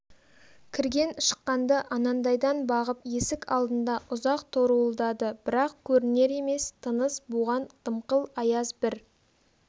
кірген шыққанды анандайдан бағып есік алдында ұзақ торуылдады бірақ көрінер емес тыныс буған дымқыл аяз бір